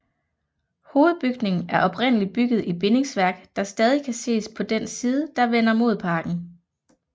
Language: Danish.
Hovedbygningen er oprindeligt bygget i bindingsværk der stadig kan ses på den side der vender mod parken